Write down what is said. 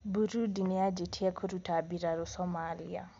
Burundi niyajitie kũrũta birarũ Somalia.